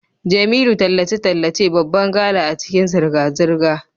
Jemilu tallace-tallace babban gala a cikin zirga-zirga.